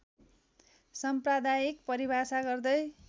साम्प्रदायिक परिभाषा गर्दै